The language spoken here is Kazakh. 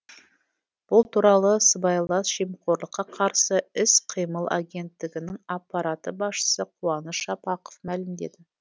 бұл туралы сыбайлас жемқорлыққа қарсы іс қимыл агенттігінің аппарат басшысы қуаныш жапақов мәлімдеді